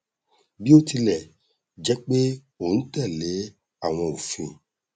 bí ó tilẹ jẹ pé ó n tẹlé àwọn òfin